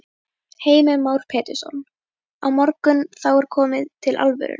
Heimir Már Pétursson: Á morgun, þá er komið til alvörunnar?